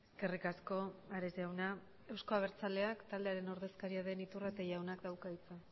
eskerrik asko ares jauna euzko abertzaleak taldearen ordezkaria den iturrate jaunak dauka hitza